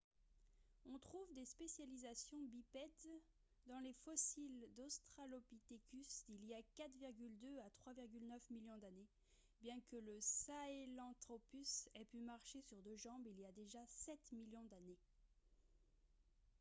on trouve des spécialisations bipèdes dans les fossiles d'australopithecus d'il y a 4,2 à 3,9 millions d'années bien que le sahelanthropus ait pu marcher sur deux jambes il y a déjà sept millions d'années